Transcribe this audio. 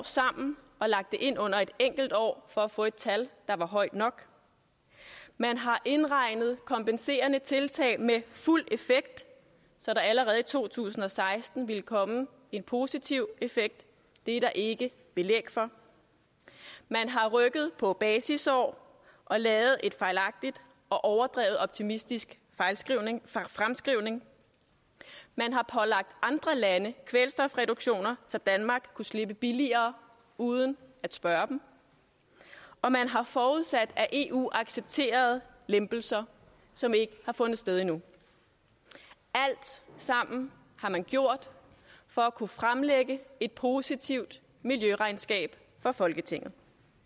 sammen og lagt det ind under et enkelt år for at få et tal der var højt nok man har indregnet kompenserende tiltag med fuld effekt så der allerede i to tusind og seksten ville komme en positiv effekt det er der ikke belæg for man har rykket på basisår og lavet en fejlagtig og overdrevet optimistisk fremskrivning fremskrivning man har pålagt andre lande kvælstofreduktioner så danmark kunne slippe billigere uden at spørge dem og man har forudsat at eu accepterede lempelser som ikke har fundet sted endnu alt sammen har man gjort for at kunne fremlægge et positivt miljøregnskab for folketinget